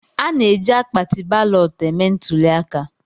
A na-eji akpatị balọtụ eme ntụlịaka